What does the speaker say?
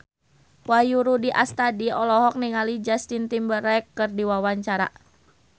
Wahyu Rudi Astadi olohok ningali Justin Timberlake keur diwawancara